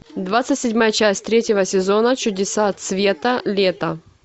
двадцать седьмая часть третьего сезона чудеса цвета лета